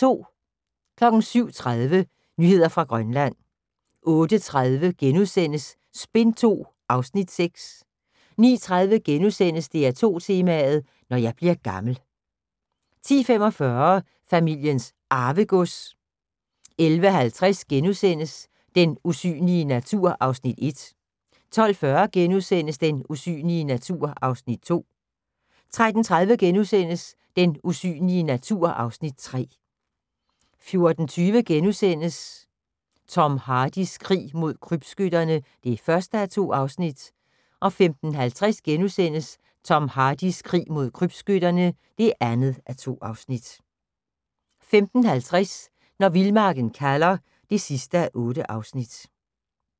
07:30: Nyheder fra Grønland 08:30: Spin II (Afs. 6)* 09:30: DR2 Tema: Når jeg bliver gammel * 10:45: Familiens Arvegods 11:50: Den usynlige natur (Afs. 1)* 12:40: Den usynlige natur (Afs. 2)* 13:30: Den usynlige natur (Afs. 3)* 14:20: Tom Hardys krig mod krybskytterne (1:2)* 15:05: Tom Hardys krig mod krybskytterne (2:2)* 15:50: Når vildmarken kalder (8:8)